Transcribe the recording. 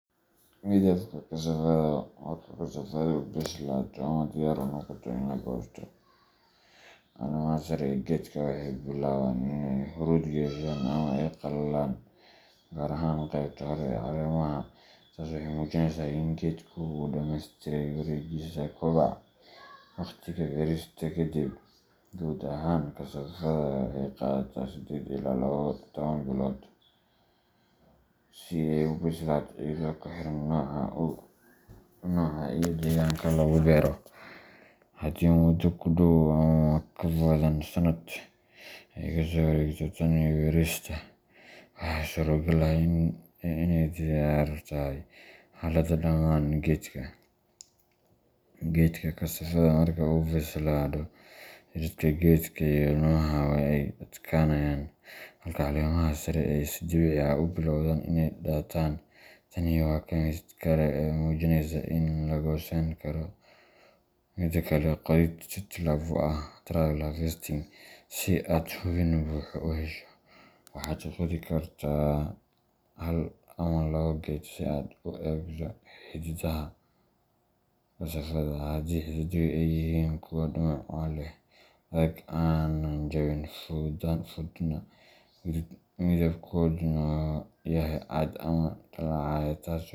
Midabka Kasafadda:Marka kasafaddu bislaato ama diyaar u noqoto in la goosto, caleemaha sare ee geedka waxay bilaabaan inay huruud yeeshaan ama ay qallalaan, gaar ahaan qaybta hoose ee caleemaha. Taas waxay muujinaysaa in geedka uu dhamaystiray wareeggiisa kobaca. Waqtiga Beerista Kadib:Guud ahaan, kasafadda waxay qaadataa sideed ilaa laba iyo toban bilood si ay u bislaato iyadoo ku xiran nooca iyo deegaanka lagu beero. Haddii muddo ku dhow ama ka badan sannad ay ka soo wareegtay tan iyo beerista, waxaa suuragal ah inay diyaar tahay. Xaaladda Dhammaan Geedka:Geedka kasafadda marka uu bislaado, jiridka geedka iyo laamaha waa ay adkaanayaan, halka caleemaha sare ay si dabiici ah u bilowdaan inay daataan. Tani waa calaamad kale oo muujinaysa in la goosan karo. Qodid Tijaabo ah Trial Harvesting:Si aad hubin buuxa u hesho, waxaad qodi kartaa hal ama labo geed si aad u eegto xididdada kasafadda. Haddii xididdadu ay yihiin kuwo dhumuc leh, adag, aan jabin fududna, midabkooduna yahay cad ama dhalaalaya taas.